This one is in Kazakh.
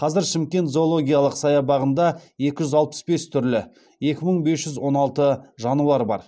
қазір шымкент зоологиялық саябағында екі жүз алпыс бес түрлі екі мың бес жүз он алты жануар бар